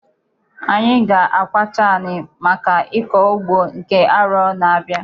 Anyị ga-akwacha anị maka ịkọ ugbo nke arọ na-abịa.